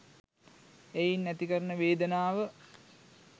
එයින් ඇති කරන වේදනාව